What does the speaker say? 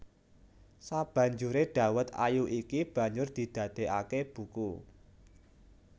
Sabanjuré Dawet Ayu iki banjur didadéaké buku